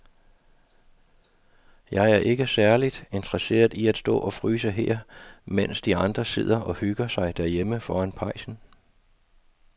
Jeg er ikke særlig interesseret i at stå og fryse her, mens de andre sidder og hygger sig derhjemme foran pejsen.